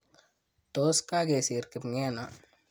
Tos kakesir kipngeno ?